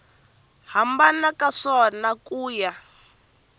hambana ka swona ku ya